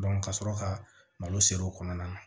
ka sɔrɔ ka malo siri o kɔnɔna na